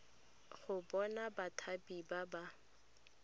go bona bathapi ba ba